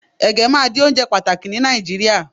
ege ma di onjẹ pàtàkì ni Naijiria